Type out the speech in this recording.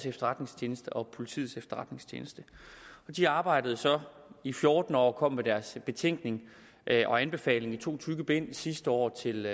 efterretningstjeneste og politiets efterretningstjeneste de arbejdede så i fjorten år og kom med deres betænkning og anbefaling i to tykke bind sidste år til